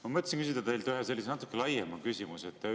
Ma mõtlesin küsida teilt ühe sellise natuke laiema küsimuse.